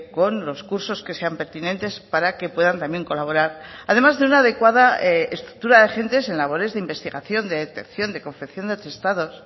con los cursos que sean pertinentes para que puedan también colaborar además de una adecuada estructura de agentes en labores de investigación de detección de confección de atestados